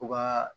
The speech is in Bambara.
U ka